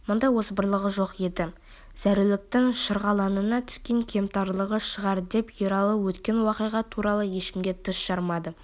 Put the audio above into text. мұндай озбырлығы жоқ еді зәруліктің шырғалаңына түскен кемтарлығы шығар деп ералы өткен уақиға туралы ешкімге тіс жармады